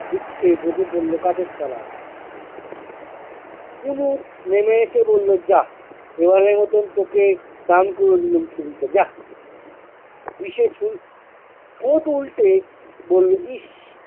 দুক্খে বসে পড়ল গাছের তলায়। কুনুর নেমে এসে বললো যাহ, এবারের মতন তোকে দান করে দিলুম ছুরিটা, যাহ। দিশে সু~ ঠোঁট উল্টে বললো- ইশ